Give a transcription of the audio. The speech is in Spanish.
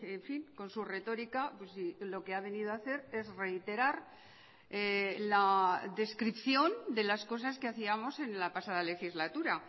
en fin con su retórica lo que ha venido a hacer es reiterar la descripción de las cosas que hacíamos en la pasada legislatura